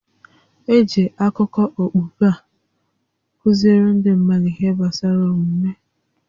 Eji akụkọ okpukpe a kụziri ndị mmadụ ihe gbasara omume